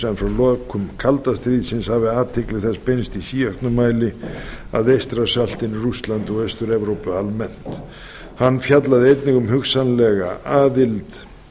en frá lokum kalda stríðsins hefði athygli þess beinst í síauknum mæli að eystrasaltinu rússlandi og austur evrópu almennt hann fjallaði einnig um hugsanlega aðild